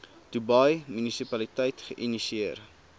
dubai munisipaliteit geïnisieer